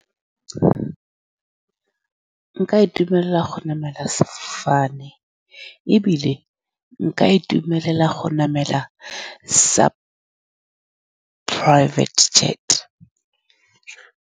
Nka itumelela go namela fane, ebile nka itumelela go namela sa private jet.